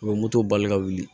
U bɛ moto bali ka wuli